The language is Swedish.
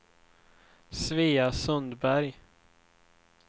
Svea Sundberg